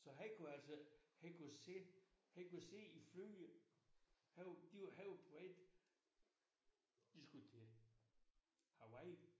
Så han kunne altså han kunne sidde han kunne sidde i flyet han var de var han var på vej de skulle til Hawaii